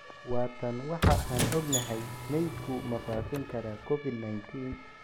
Waa tan waxa aan ognahay: Meydku ma faafin karaa Covid-19?